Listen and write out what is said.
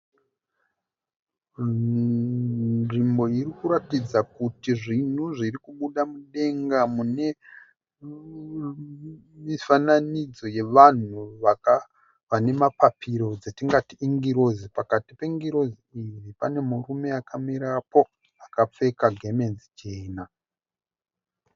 Nzvimbo irikuratidza kuti zvinhu zvirikubuda mudenga mune mifananidzo yevanhu vane mapapiro dzatingati ingirozi. Pakati pengirozi pane murume akamirapo akapfeka gemenzi jena.